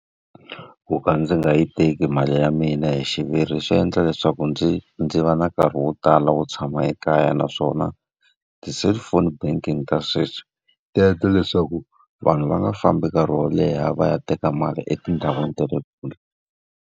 Ku ka ndzi nga yi teki mali ya mina hi xiviri swi endla leswaku ndzi ndzi va na nkarhi wo tala wo tshama ekaya. Naswona ti-cellphone banking ta sweswi, ti endla leswaku vanhu va nga fambi nkarhi wo leha va ya teka mali etindhawini ta le kule.